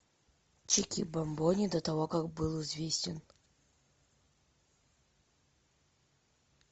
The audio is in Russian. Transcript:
чики бамбони до того как был известен